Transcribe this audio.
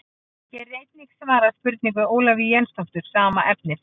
Hér er einnig svarað spurningu Ólafíu Jensdóttur sama efnis.